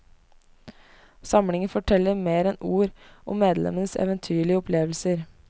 Samlingen forteller mer enn ord om medlemmenes eventyrlige opplevelser.